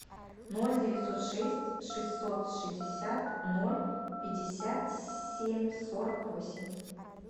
ноль девятьсот шесть шестьсот шестьдесят ноль пятьдесят семь сорок восемь